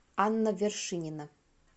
анна вершинина